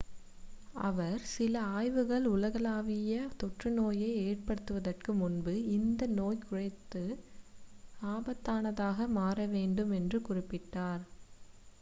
அவர் சில ஆய்வுகள் உலகளாவிய தொற்று நோயை ஏற்படுத்துவதற்கு முன்பு இந்த நோய் குறைந்த ஆபத்தானதாக மாற வேண்டும் என்று குறிப்பிட்டார்